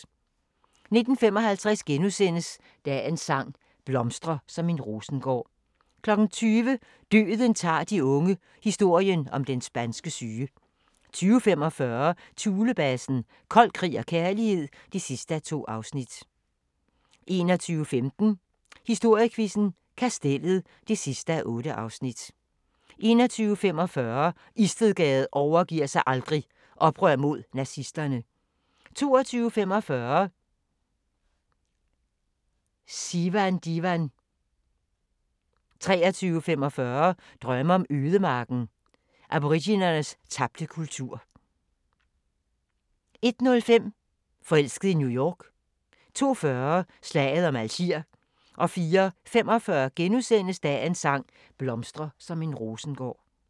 19:55: Dagens sang: Blomstre som en rosengård * 20:00: Døden tager de unge – historien om den spanske syge 20:45: Thulebasen – Kold krig og kærlighed (2:2) 21:15: Historiequizzen: Kastellet (8:8) 21:45: Istedgade overgiver sig aldrig - oprør mod nazisterne 22:45: Sivandivan 23:45: Drømme fra ødemarken – Aboriginernes tabte kultur 01:05: Forelsket i New York 02:40: Slaget om Algier 04:45: Dagens sang: Blomstre som en rosengård *